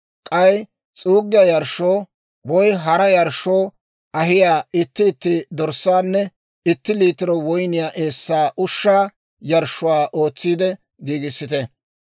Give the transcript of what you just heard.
K'ay s'uuggiyaa yarshshoo, woy hara yarshshoo ahiyaa itti itti dorssaanna itti liitiro woyniyaa eessaa ushshaa yarshshuwaa ootsiide giigissite.